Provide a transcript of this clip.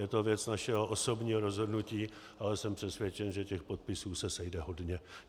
Je to věc našeho osobního rozhodnutí, ale jsem přesvědčen, že těch podpisů se sejde hodně.